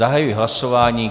Zahajuji hlasování.